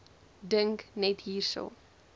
dink net hierso